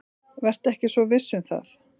Vertu ekki svo viss um það.